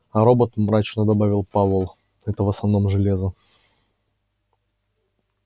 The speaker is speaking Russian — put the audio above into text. а робот мрачно добавил пауэлл это в основном железо